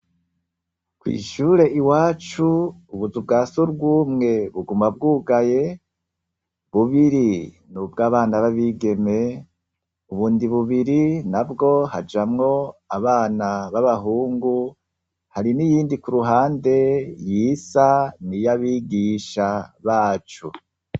Kw'ishure iwacu ubuzu bwa sugumwe buguma bwugaye bubiri n'ubwabana b'abigeme ,ubundi bubiri nabwo hajamwo abana b'abahungu hari n'iyindi ku ruhande yisa n'iyabigisha bacu.